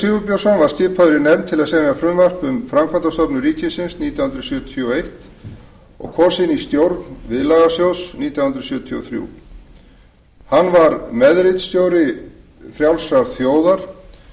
sigurbjörnsson var skipaður í nefnd til að semja frumvarp um framkvæmdastofnun ríkisins nítján hundruð sjötíu og eins og kosinn í stjórn viðlagasjóðs nítján hundruð sjötíu og þrjú hann var meðritstjóri frjálsrar þjóðar